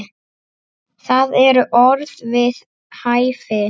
Það eru orð við hæfi.